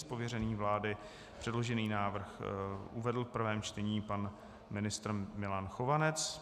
Z pověření vlády předložený návrh uvedl v prvém čtení pan ministr Milan Chovanec.